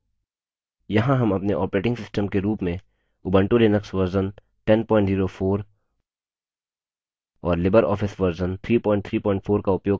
यहाँ हम अपने operating system के रूप में उबंटु लिनक्स version 1004 और libreoffice version 334 का उपयोग कर रहे हैं